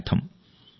అని అర్థం